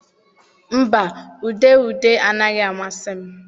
Mba, ude ude anaghị amasị m.